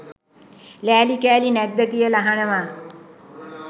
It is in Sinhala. ලෑලි කෑලි නැද්ද කියලා අහනවා